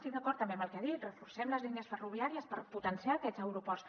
estic d’acord també amb el que ha dit reforcem les línies ferro·viàries per potenciar aquests aeroports